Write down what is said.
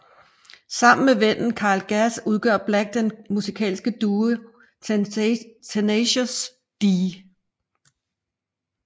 Sammen med vennen Kyle Gass udgør Black den musikalske duo Tenacious D